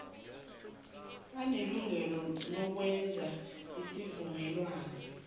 banelungelo lokwenza isivumelwano